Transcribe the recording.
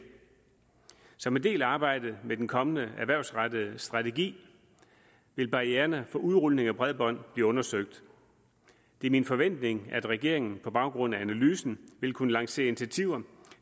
som en del af arbejdet med den kommende erhvervsrettede strategi vil barriererne for udrulning af bredbånd blive undersøgt det er min forventning at regeringen på baggrund af analysen vil kunne lancere initiativer